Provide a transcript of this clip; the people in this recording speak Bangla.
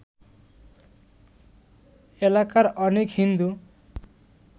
এলাকার অনেক হিন্দু